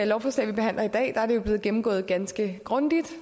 lovforslag vi behandler i dag er det jo blevet gennemgået ganske grundigt